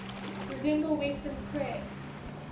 resemble western prayer